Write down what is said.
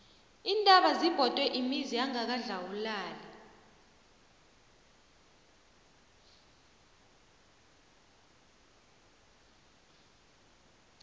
iintaba zibhode imizi yangakwadlawulale